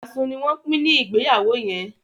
asun ní wón Pin ní Ìgbéyàwó yén.